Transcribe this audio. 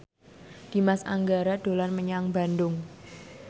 Dimas Anggara dolan menyang Bandung